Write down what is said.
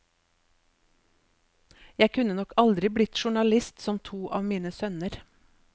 Jeg kunne nok aldri blitt journalist som to av mine sønner.